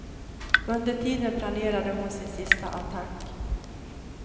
Under tiden planerade hon sin sista attack.